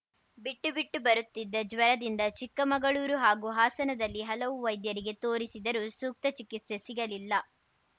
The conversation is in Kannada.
ಬಿಟ್ಟು ಬಿಟ್ಟು ಬರುತ್ತಿದ್ದ ಜ್ವರದಿಂದ ಚಿಕ್ಕಮಗಳೂರು ಹಾಗೂ ಹಾಸನದಲ್ಲಿ ಹಲವು ವೈದ್ಯರಿಗೆ ತೋರಿಸಿದರೂ ಸೂಕ್ತ ಚಿಕಿತ್ಸೆ ಸಿಗಲಿಲ್ಲ